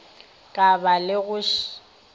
ka ba le go še